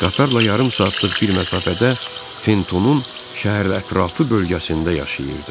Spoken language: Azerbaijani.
Qatarla yarım saatlıq bir məsafədə Fentonun şəhərətrafı bölgəsində yaşayırdı.